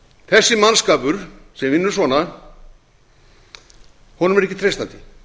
þessum mannskap sem vinnur svona er ekki treystandi